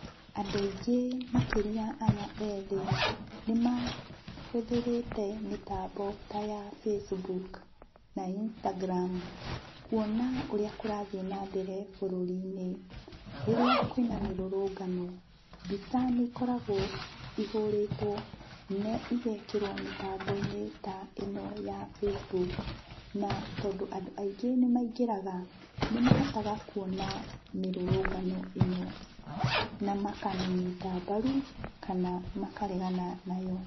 Andũ aingĩ makĩrĩa aya ethĩ, nĩmahũthĩrĩte mĩtambo ta ya Facebook, Instagram, kuona ũrĩa kũrathiĩ na mbere bũrũri-inĩ. Rĩrĩa kwĩna mĩrũrũngano, mbica nĩikoragwo ihũrĩtwo na igekĩrwo mĩtambo-inĩ ta ĩno ya Facebook, na tondũ andũ aingĩ nĩmaingĩraga, nĩmahotaga kuona mĩrũrũngano ĩno na makamĩnyita mbaru kana makaregana nayo.